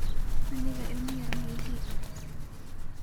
Aniga ilma yar maixi.